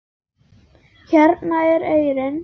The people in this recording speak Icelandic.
Hérna er eyrin.